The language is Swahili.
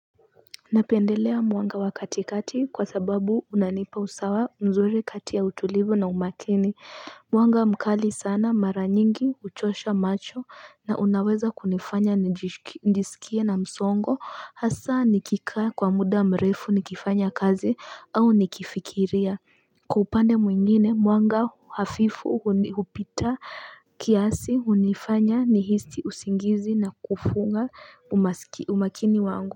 Napendelea mwanga wa katikati kwa sababu unanipa usawa mzuri kati ya utulivu na umakini mwanga mkali sana mara nyingi uchosha macho na unaweza kunifanya niskie na msongo hasa nikikaa kwa muda mrefu nikifanya kazi au nikifikiria kwa upande mwingine mwanga hafifu upita kiasi unifanya nihisi usingizi na kufunga umakini wangu.